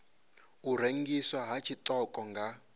u rengiswa ha tshiṱoko nga